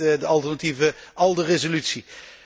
En dat is wellicht de alternatieve ALDE resolutie.